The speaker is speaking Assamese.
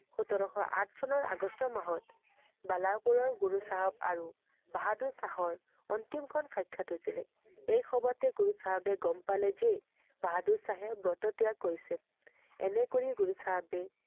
সোতৰশ আঠ চনৰ আগষ্ট মাহত, বলাপিৰৰ গুৰু চাহাব আৰু বাহাদুৰ শাহৰ অন্তিমখন সাক্ষাৎ হৈছিলে। এই সবতে গুৰু চাহাবে গম পালে যে বাহাদুৰ শাহে ব্ৰত ত্যাগ কৰিছে। এনে কৰি গুৰু চাহাবে